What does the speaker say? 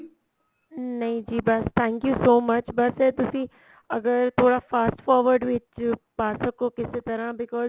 ਨਹੀਂ ਜੀ ਬੱਸ thank you so much ਬੱਸ ਇਹ ਤੁਸੀਂ ਅਗਰ ਥੋੜਾ fast forward ਵਿੱਚ ਪਾ ਸਕੋ ਕਿਸੇ ਤਰ੍ਹਾਂ because